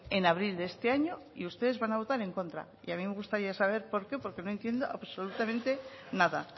en abril de este año y ustedes van a votar en contra y a mí me gustaría saber por qué porque no entiendo absolutamente nada